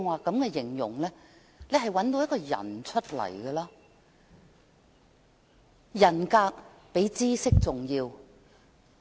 正如我剛才所說，特首的人格比知識重要。